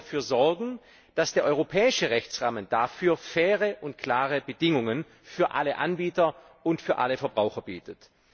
Aber wir wollen dafür sorgen, dass der europäische Rechtsrahmen dafür faire und klare Bedingungen für alle Anbieter und für alle Verbraucher bietet.